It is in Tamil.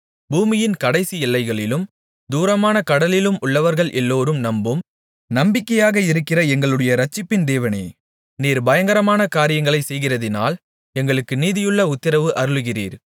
பூமியின் கடைசி எல்லைகளிலும் தூரமான கடல்களிலும் உள்ளவர்கள் எல்லோரும் நம்பும் நம்பிக்கையாக இருக்கிற எங்களுடைய இரட்சிப்பின் தேவனே நீர் பயங்கரமான காரியங்களைச் செய்கிறதினால் எங்களுக்கு நீதியுள்ள உத்திரவு அருளுகிறீர்